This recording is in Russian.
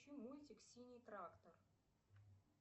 включи мультик синий трактор